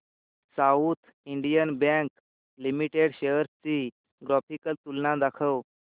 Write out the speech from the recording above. south Indian bank limited shares ची graphical तुलना दाखव